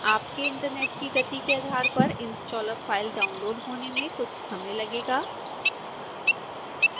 आपके इंटरनेट की गति के आधार पर installer फाइल डाउनलोड़ होने में कुछ समय लगेगा